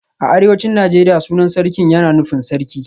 A arewacin Najeriya sunan Sarkin yana nufin Sarki